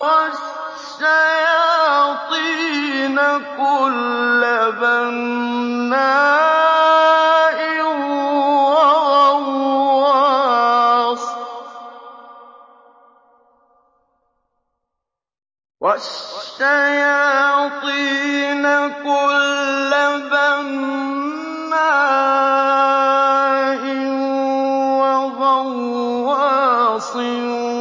وَالشَّيَاطِينَ كُلَّ بَنَّاءٍ وَغَوَّاصٍ